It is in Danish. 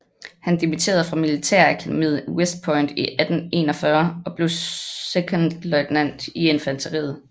Han dimitterede fra Militærakademiet i West Point i 1841 og blev sekondløjtnant i infanteriet